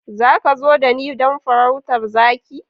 Za ka zo da ni don farautar zaki?